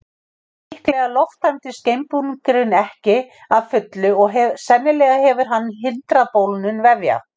líklega lofttæmdist geimbúningurinn ekki að fullu og sennilega hefur hann hindrað bólgnun vefja